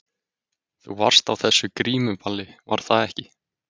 Þú varst á þessu grímuballi, var það ekki?